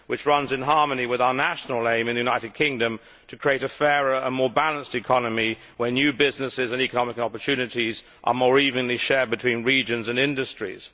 This is in harmony with our national aim in the United Kingdom to create a fairer and more balanced economy, where new businesses and economic opportunities are more evenly shared between regions and industries.